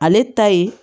Ale ta ye